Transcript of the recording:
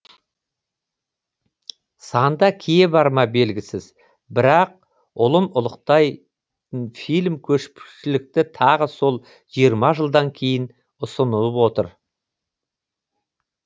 санда кие барма белгісіз бірақ ұлын ұлықтай фильм көпшілікті тағы сол жиырма жылдан кейін ұсынылып отыр